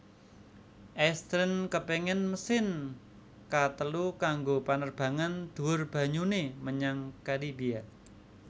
Eastern kepéngin mesin ka telu kanggo panerbangan dhuwur banyuné menyang Karibia